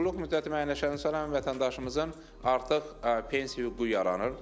Qulluq müddəti müəyyənləşəndən sonra həmin vətəndaşımızın artıq pensiya hüququ yaranır.